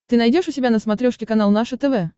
ты найдешь у себя на смотрешке канал наше тв